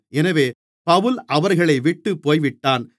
எனவே பவுல் அவர்களைவிட்டுப் போய்விட்டான்